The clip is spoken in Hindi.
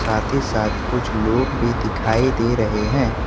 साथ ही साथ कुछ लोग भी दिखाई दे रहे हैं।